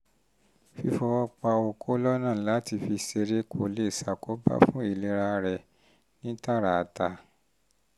fífọwọ́ pa okó lọ́nà láti fi ṣeré kò lè ṣàkóbá fún ìlera rẹ ní tààràtà